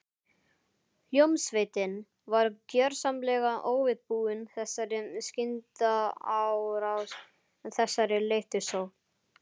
Hljómsveitin var gjörsamlega óviðbúin þessari skyndiárás, þessari leiftursókn.